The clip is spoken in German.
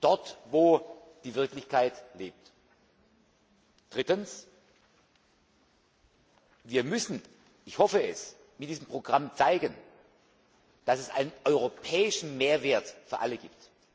dort wo die Wirklichkeit lebt. Drittens Wir müssen ich hoffe es mit diesem Programm zeigen, dass es einen europäischen Mehrwert für alle gibt.